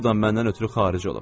Bu da məndən ötrü xaric olub.